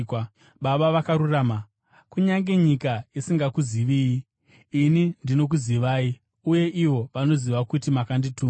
“Baba vakarurama, kunyange nyika isingakuziviyi, ini ndinokuzivai, uye ivo vanoziva kuti makandituma.